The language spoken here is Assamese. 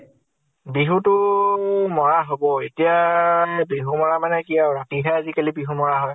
বিহু তো মাৰা হʼব । এতিয়া বিহু মাৰা মানে, ৰাতি হে আজিকালি বিহু মাৰা হয় ।